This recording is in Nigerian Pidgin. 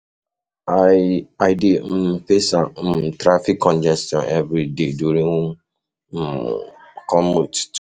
I dey um face um traffic congestion every day during my um commute to work.